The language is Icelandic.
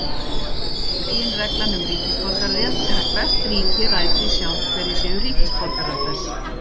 Meginreglan um ríkisborgararétt er að hvert ríki ræður því sjálft hverjir séu ríkisborgarar þess.